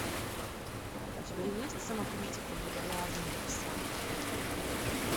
у тебя есть самокритика буржуазного пса